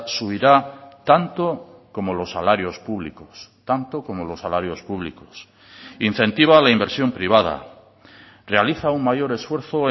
subirá tanto como los salarios públicos tanto como los salarios públicos incentiva la inversión privada realiza un mayor esfuerzo